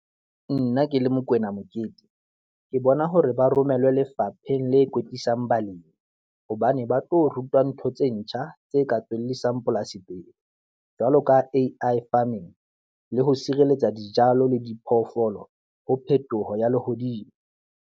Nna ke le Mokoena Mokete, ke bona hore ba romellwe lefapheng le kwetlisang balemi hobane ba tlo rutuwa ntho tse ntjha tse ka tswellisang polasi pele, jwalo ka A_I farming le ho sirelletsa dijalo le diphoofolo ho phetoho ya lehodimo.